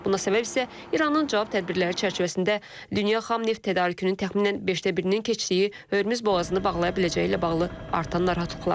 Buna səbəb isə İranın cavab tədbirləri çərçivəsində dünya xam neft tədarükünün təxminən beşdə birinin keçdiyi Hörmüz boğazını bağlaya biləcəyi ilə bağlı artan narahatlıqlardır.